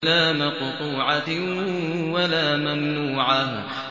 لَّا مَقْطُوعَةٍ وَلَا مَمْنُوعَةٍ